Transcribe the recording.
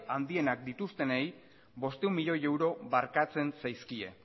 handienak dituztenei bostehun milioi euro barkatzen zaizkie